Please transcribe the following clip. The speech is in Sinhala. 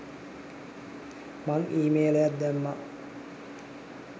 මං ඊමේලයක් දැම්මා.